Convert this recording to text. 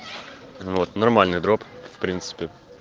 вот нормальный дроп в принципе